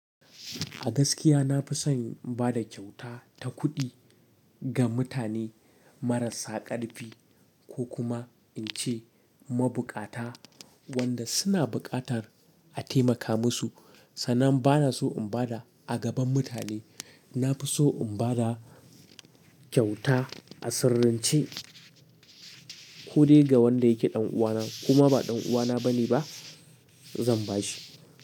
A gaskiya nafi son in bada ƙyauta ta kuɗi ga mutane marasa ƙarfi ko kuma ince mabuƙata wanda suna buƙatar a taimaka musu. Sannan bana so in bada a gaban mutane. Nafi so in bada ƙyauta a sirrance ko dai ga wanda yake ɗan uwana koma ba ɗan uwana bane ba zan bashi.